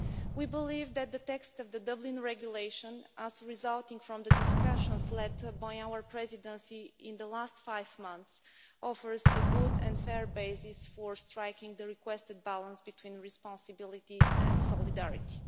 We believe that the text of the Dublin Regulation, resulting from the discussions led by our Presidency in the last five months, offers a good and fair basis for striking the requested balance between responsibility and solidarity.